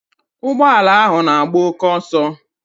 Ụgbọala ahụ n'agba oké ọsọ.